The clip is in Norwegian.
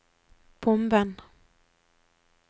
bomben